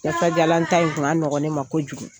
Kasajalan ta in kun ka nɔgɔ ne ma kojugu